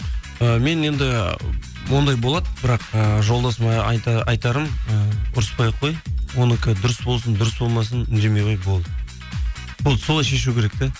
і мен енді ондай болады бірақ ііі жолдасыма айтарым ііі ұрыспай ақ қой оныкі дұрыс болсын дұрыс болмасын үндемей қой болды болды солай шешу керек те